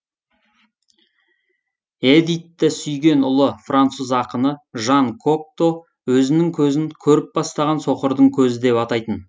эдитті сүйген ұлы француз ақыны жан кокто өзінің көзін көріп бастаған соқырдың көзі деп атайтын